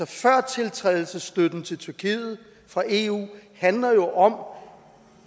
førtiltrædelsesstøtten til tyrkiet fra eu handler jo om